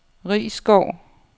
Risskov